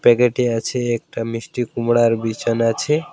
প্যাকেটে আছে একটা মিষ্টি কুমড়ার বিছান আছে।